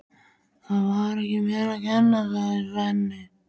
Það var ekki mér að kenna, sagði Svenni.